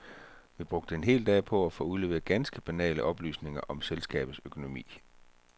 Vi brugte en hel dag på at få udleveret ganske banale oplysninger om selskabets økonomi.